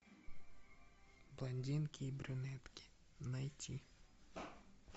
блондинки и брюнетки найти